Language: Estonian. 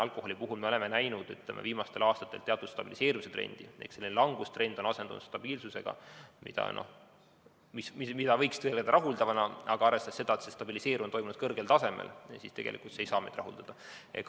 Alkoholi puhul me oleme näinud viimastel aastatel teatud stabiliseerumise trendi, langustrend on asendunud stabiilsusega, mida võiks tõlgendada rahuldavana, aga arvestades seda, et see stabiliseerumine on toimunud kõrgel tasemel, siis tegelikult ei saa see meid rahuldada.